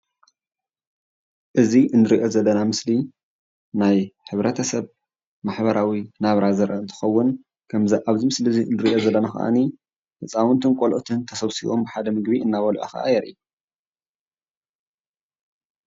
እዚ ንሪኦ ዘለና ምስሊ ናይ ሕብረተሰብ ማሕበራዊ ናብራ ዘርኢ እንትኸውን ከምዚ ኣብዚ ምስሊ ንሪኦ ዘለና ኸዓኒ ህፃውንትን ቆልዕትን ተሰብሲቦም ብሓደ ምግቢ እናበልዑ ከዓ የርኢ ።